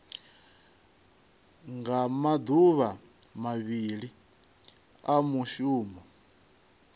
nga maduvha mavhili a mushumo